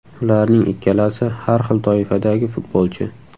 Ularning ikkalasi har xil toifadagi futbolchi.